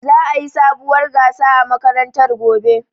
Za'a yi sabuwar gasa a makarantar gobe.